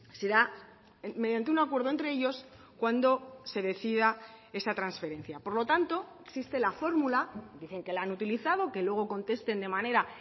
será mediante un acuerdo entre ellos cuando se decida esta transferencia por lo tanto existe la fórmula dicen que la han utilizado que luego contesten de manera